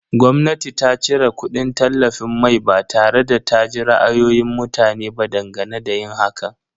Gwamnati ta cire kudin tallafin mai ba tare da ta ji ra'ayoyin mutane ba dangane da yin hakan.